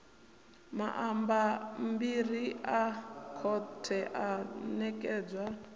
mabammbiri a khothe o ṋekedzwa